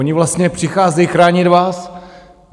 Oni vlastně přicházejí chránit vás.